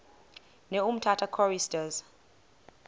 ne umtata choristers